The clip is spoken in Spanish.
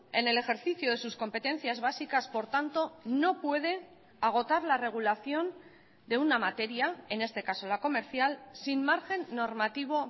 en el ejercicio de sus competencias básicas por tanto no puede agotar la regulación de una materia en este caso la comercial sin margen normativo